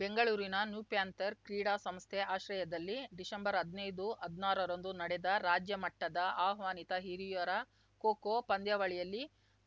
ಬೆಂಗಳೂರಿನ ನ್ಯೂಪ್ಯಾಂಥರ್‌ ಕ್ರೀಡಾ ಸಂಸ್ಥೆ ಆಶ್ರಯದಲ್ಲಿ ಡಿಸೆಂಬರ್ಹದ್ನೈದು ಹದ್ನಾರರಂದು ನಡೆದ ರಾಜ್ಯ ಮಟ್ಟದ ಆಹ್ವಾನಿತ ಹಿರಿಯರ ಖೋಖೋ ಪಂದ್ಯಾವಳಿಯಲ್ಲಿ